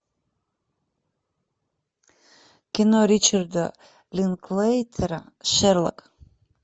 кино ричарда линклейтера шерлок